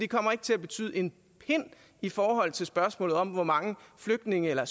kommer til at betyde en pind i forhold til spørgsmålet om hvor mange flygtninge eller